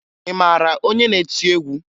Ị mara onye na-eti egwu?